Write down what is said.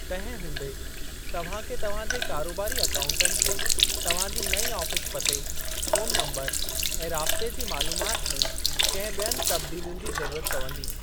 तंहिं हूंदे, तव्हां खे तव्हां जे कारोबारी अकाउन्टनि खे तव्हां जी नईं आफ़ीस पते, फ़ोनु नम्बरु, ऐं राब्ते जी मालूमात में कंहिं ॿियनि तबदीलयुनि जी ज़रूरत पवंदी।